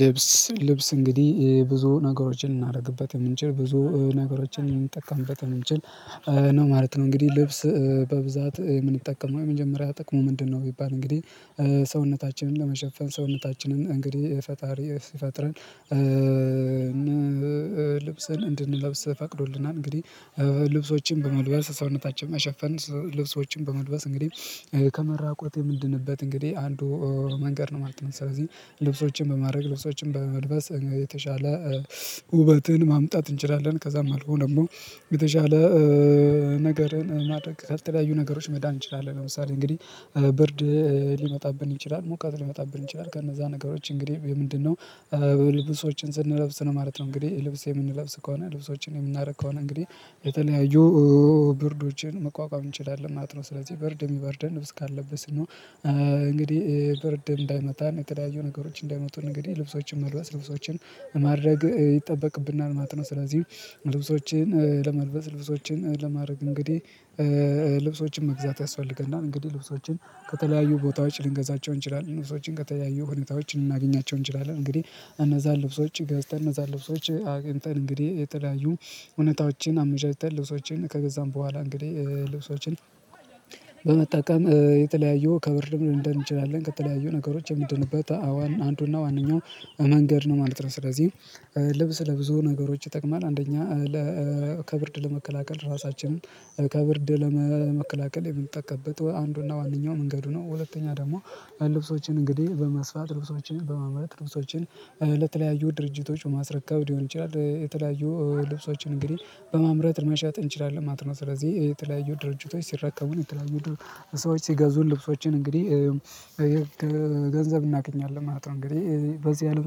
ልብስ ልብስ እንግዲህ ብዙ ነገሮችን ልናደርግበት የምንችል ብዙ ነገሮችን ልምንጠቀምበት የምንችል ነው ማለት ነው። እንግዲህ ልብስ በብዛት የምንጠቀመው የመጀመሪያ ጥቅሙ ምንድነው? ቢባል እንግዲህ ሰውነታችንን ለመሸፈን ሰውነታችንን እንግዲህ ፈጣሪ ሲፈጥረን ልብሰን እንድንለብስ ፈቅዶልናል። እንግዲህ ልብሶችን በመልበስ ሰውነታችን መሸፈን ልብሶችን በመልበስ እንግዲህ ከመራቆት የምንድንበት እንግዲህ አንዱ መንገድ ነው ማለት ነው። ስለዚህ ልብሶችን በማድረግ ልብሶችን በመልበስ የተሻለ ውበትን ማምጣት እንችላለን። ከዛም አልፎ ደግሞ የተሻለ ነገርን ማድረግ ከተለያዩ ነገሮች መዳን እንችላለን። ለምሳሌ እንግዲህ ብርድ ሊመጣብን ይችላል ሙቀት ሊመጣብን ይችላል ከነዛ ነገሮች እንግዲህ የምንድነው ልብሶችን ስንለብስ ነው ማለት ነው። እንግዲህ ልብስ የምንለብስ ከሆነ ልብሶችን የምናደርግ ከሆነ እንግዲህ የተለያዩ ብርዶችን መቋቋም እንችላለን ማለት ነው። ስለዚህ ብርድ የሚበርደን ልብስ ካለበስን ነው። ብርድ እንዳይመታን የተለያዩ ነገሮች እንዳይመቱን እንግዲህ ልብሶችን መልበስ ልብሶችን ማድረግ ይጠበቅብናል ማለት ነው። ስለዚህ ልብሶችን ለመልበስ ልብሶችን ለማድረግ እንግዲህ ልብሶችን መግዛት ያስፈልገናል። እንግዲህ ልብሶችን ከተለያዩ ቦታዎች ልንገዛቸው እንችላለን ልብሶችን ከተለያዩ ሁኔታዎች ልናገኛቸው እንችላለን። እንግዲህ እነዛን ልብሶች ገዝተን እነዛን ልብሶች አግኝተን እንግዲህ የተለያዩ ሁኔታዎችን አመቻችተን ልብሶችን ከገዛን በኋላ እንግዲህ ልብሶችን በመጠቀም የተለያዩ ከብርድም ልንድን እንችላለን። ከተለያዩ ነገሮች የምንድንበበት አዋን አንዱና ዋነኛው መንገድ ነው ማለት ነው። ስለዚህ ልብስ ለብዙ ነገሮች ይጠቅማል። አንደኛ ለ ከብርድ ለመከላከል ራሳችንን ከብርድ ለመከላከል የምንጠቀምበት አንዱና ዋነኛው መንገዱ ነው። ሁለተኛ ደግሞ ልብሶችን እንግዲህ በመስፋት ልብሶችን በማምረት ልብሶችን ለተለያዩ ድርጅቶች በማስረከብ ሊሆን ይችላል። የተለያዩ ልብሶችን እንግዲህ በማምረት መሸጥ እንችላለን ማለት ነው። ስለዚህ የተለያዩ ድርጅቶች ሲራከቡን የተለያዩ ሰዎች ሲገዙ ልብሶችን እንግዲህ ገንዘብ እናገኛለን ማለት ነው። እንግዲህ በዚህ አለም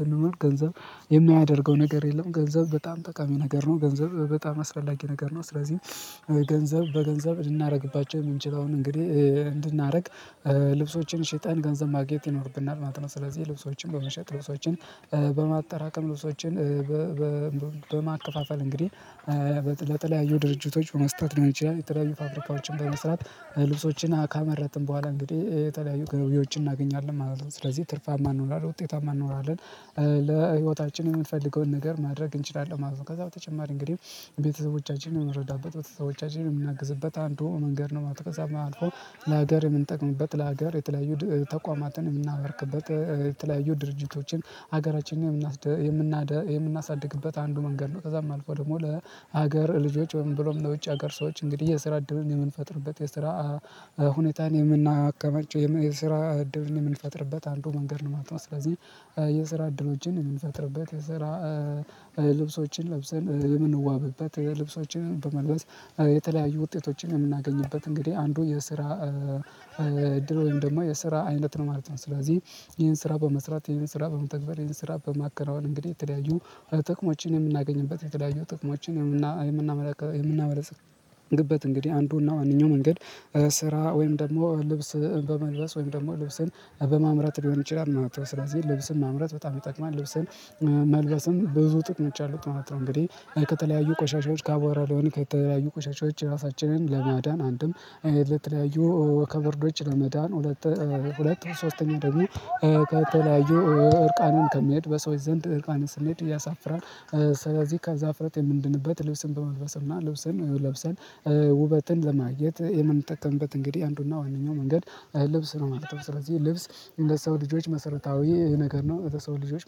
ስንኖር ገንዘብ የማያደርገው ነገር የለም። ገንዘብ በጣም ጠቃሚ ነገር ነው። ገንዘብ በጣም አስፈላጊ ነገር ነው። ስለዚህ ገንዘብ በገንዘብ ልናደርግባቸው የምንችለውን እንግዲህ እንድናደርግ ልብሶችን ሽጠን ገንዘብ ማግኘት ይኖርብናል ማለት ነው። ስለዚህ ልብሶችን በመሸጥ ልብሶችን በማጠራቀም ልብሶችን በማከፋፈል እንግዲህ ለተለያዩ ድርጅቶች በመስጠት ሊሆን ይችላል። የተለያዩ ፋብሪካዎችን በመስራት ልብሶችን ካመረትን በኋላ እንግዲህ የተለያዩ ገቢዎችን እናገኛለን ማለት ነው። ስለዚህ ትርፋማ እንሆናለን ውጤታማ እንሆናለን ለህይወታችን የምንፈልገውን ነገር ማድረግ እንችላለን ማለት ነው። ከዛ በተጨማሪ እንግዲህ ቤተሰቦቻችንን የምንረዳበት ቤተሰቦቻችንን የምናግዝበት አንዱ መንገድ ነው ማለት ነው። ከዛም አልፎ ለሀገር የምንጠቅምበት ለሀገር የተለያዩ ተቋማትን የምናበርክበት የተለያዩ ድርጅቶችን ሀገራችንን የምናሳድግበት አንዱ መንገድ ነው። ከዛም አልፎ ደግሞ ለሀገር ልጆች ወይም ብሎም ለውጭ ሀገር ሰዎች እንግዲህ የስራ እድልን የምንፈጥርበት የስራ ሁኔታን የምናከማቸው የስራ እድልን የምንፈጥርበት አንዱ መንገድ ነው ማለት ነው። ስለዚህ የስራ እድሎችን የምንፈጥርበት የስራ ልብሶችን ለብሰን የምንዋብበት የልብሶችን በመልበስ የተለያዩ ውጤቶችን የምናገኝበት እንግዲህ አንዱ የስራ እድል ወይም ደግሞ የስራ አይነት ነው ማለት ነው። ስለዚህ ይሄን ስራ በመስራት ይሄን ስራ በመተግበር ይሄን ስራ በማከራወን እንግዲህ የተለያዩ ጥቅሞችን የምናገኝበት የተለያዩ ጥቅሞችን የምና የምናመለክ የምናመለጽ በት እንግዲህ አንዱና ዋነኛው መንገድ ስራ ወይም ደግሞ ልብስ በመልበስ ወይም ደግሞ ልብስን በማምረት ሊሆን ይችላል። ስለዚህ ልብስን ማምረት በጣም ይጠቅማል። ልብስን መልበስም ብዙ ጥቅሞች አሉት ማለት ነው። እንግዲህ ከተለያዩ ቆሻሻዎች ከአቧራ ሊሆን ከተለያዩ ቆሻሻዎች እራሳችንን ለማዳን አንድም ለተለያዩ ከብርዶች ለመዳን ሁለት ሁለት ሶስተኛው ደግሞ ከተለያዩ እርቃንን ከመሄድ በሰዎች ዘንድ እርቃንን ስንሄድ እያሳፍራል ስለዚህ ከዛ እፍረት የምንድንበት ልብስን በመልበስ እና ልብስን ለብሰን ውበትን ለማግኘት የምንጠቀምበት እንግዲህ አንዱና ዋነኛው መንገድ ልብስ ነው ማለት ነው። ስለዚህ ልብስ ለሰው ልጆች መሰረታዊ ነገር ነው። ለሰው ልጆች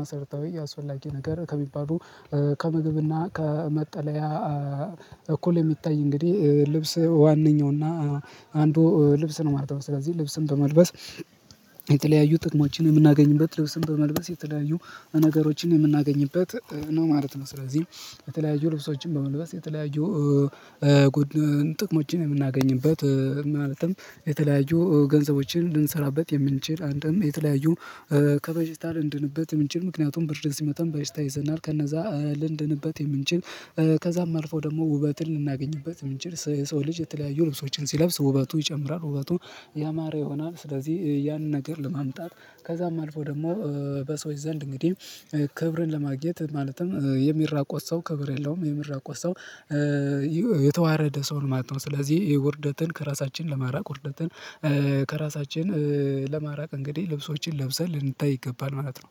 መሰረታዊ አስፈላጊ ነገር ከሚባሉ ከምግብና ከመጠለያ እኩል የሚታይ እንግዲህ ልብስ ዋነኛውና አንዱ ልብስ ነው ማለት ነው። ስለዚህ ልብስን በመልበስ የተለያዩ ጥቅሞችን የምናገኝበት ልብስን በመልበስ የተለያዩ ነገሮችን የምናገኝበት ነው ማለት ነው። ስለዚህ የተለያዩ ልብሶችን በመልበስ የተለያዩ ጉድ ጥቅሞችን የምናገኝበት ማለትም የተለያዩ ገንዘቦችን ልንሰራበት የምንችል አንድም የተለያዩ ከበሽታ ልንድንበት የምንችል ምክንያቱም ብርድ ሲመታን በሽታ ይይዘናል። ከነዛ ልንድንበት የምንችል። ከዛም አልፎ ደግሞ ውበትን ልናገኝበት የምንችል የሰው ልጅ የተለያዩ ልብስዎችን ሲለብስ ውበቱ ይጨምራል ውበቱ ያማረ ይሆናል። ስለዚህ ያንን ነገር ለማምጣት ከዛም አልፎ ደግሞ በሰዎች ዘንድ እንግዲህ ክብርን ለማግኘት ማለትም የሚራቆት ሰው ክብር የለውም። የሚራቆት ሰው የተዋረደ ሰው ነው ማለት ነው። ስለዚህ ውርደትን ከራሳችን ለማራቅ ውርደትን ከራሳችን ለማራቅ እንግዲህ ልብሶችን ለብሰን ልንታይ ይገባል ማለት ነው።